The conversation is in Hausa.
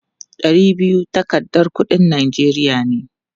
Ɗari biyu takardar kuɗin Najeriya ne.